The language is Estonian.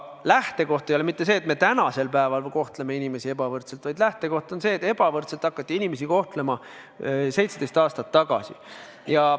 Lähtekoht ei ole mitte see, et me tänasel päeval kohtleme inimesi ebavõrdselt, vaid lähtekoht on see, et ebavõrdselt hakati inimesi kohtlema 17 aastat tagasi.